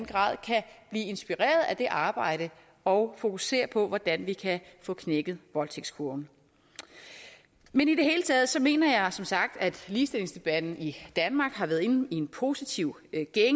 grad kan blive inspireret af det arbejde og fokusere på hvordan vi kan få knækket voldtægtskurven i det hele taget mener jeg som sagt at ligestillingsdebatten i danmark har været inde i en positiv